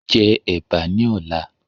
Jẹ ẹ̀bà ní ọ̀la